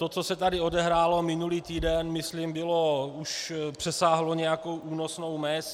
To, co se tady odehrálo minulý týden, myslím přesáhlo nějakou únosnou mez.